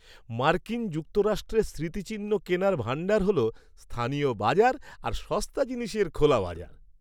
মার্কিন যুক্তরাষ্ট্রে স্মৃতিচিহ্ন কেনার ভাণ্ডার হল স্থানীয় বাজার আর সস্তা জিনিসের খোলা বাজার।